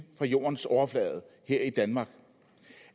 fra jordens overflade her i danmark